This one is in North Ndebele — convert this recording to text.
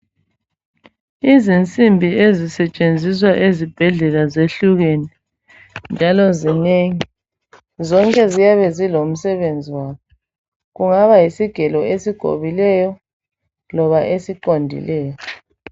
Izinsimbi ezisetshenziswa ezibhedlela zehlukene njalo zingengi zonke ziyabe zilomsebenzi waso kungaba yisigelo esigobileyo loba siqondileyo.